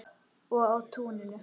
Og á túninu.